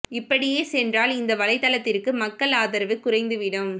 இப்படியே சென்றால் இந்த வலை தளத்திற்கு மக்கள் அதரவு குறைந்துவிடும்